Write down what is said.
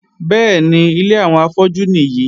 Bẹ́ẹ̀ni, ilé àwọn afọ́jú nìyí.